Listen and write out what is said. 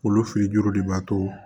Olu fili juru de b'a to